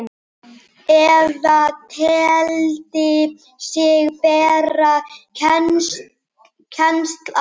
eða teldi sig bera kennsl á.